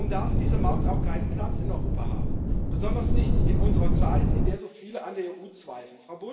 Darum darf diese Maut auch keinen Platz in Europa haben, besonders nicht in unserer Zeit, in der so viele an der EU zweifeln.